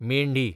मेंढी